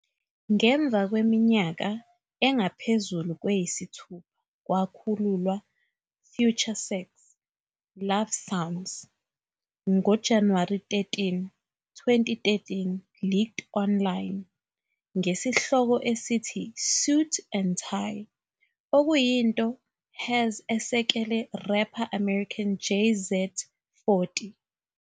Ngemva kweminyaka engaphezu kweyisithupha kwakhululwa FutureSex - LoveSounds, ngo-January 13, 2013 leaked online ngesihloko esithi "Suit and Tie", okuyinto has asekele rapper American Jay-Z.40